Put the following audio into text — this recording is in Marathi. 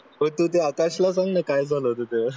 होय तू ते आकाशला सांग ना काय झालं होत ते